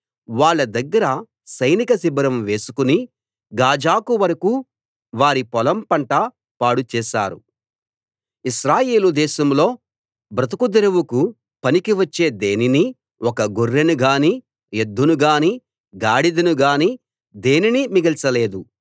వాళ్ళ దగ్గర సైనిక శిబిరం వేసుకుని గాజాకు వరకూ వారి పొలం పంట పాడు చేశారు ఇశ్రాయేలు దేశంలో బ్రతుకుదెరువుకు పనికి వచ్చే దేనినీ ఒక్క గొర్రెనుగానీ ఎద్దును గానీ గాడిదను గానీ దేనినీ మిగల్చలేదు